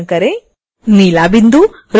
नीला बिंदु रोटेशन के लिए है